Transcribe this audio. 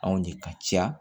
Anw de ka ca